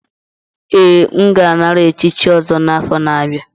Ee, m ga-anara echichi ọzọ n'afọ na-abịa.